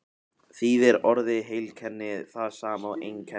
þýðir orðið heilkenni það sama og einkenni